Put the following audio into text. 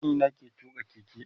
Kanina ke tuƙa keke